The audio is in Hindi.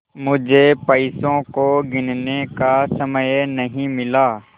मुझे पैसों को गिनने का समय नहीं मिला